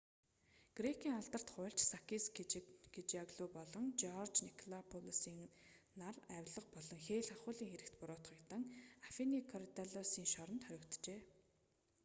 грекийн алдарт хуульч сакис кечажиоглоу болон жорж николакопоулос нар авилга болон хээль хахуулийн хэрэгт буруутгагдан афиний коридаллусын шоронд хоригджээ